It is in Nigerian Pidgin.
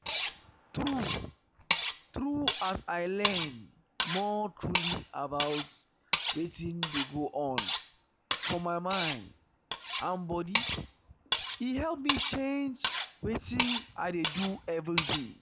true true as i learn more truly about wetin dey go on for my mind and body e help me change wetin i dey do everyday.